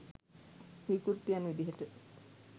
විකෘතිකයන් විදිහට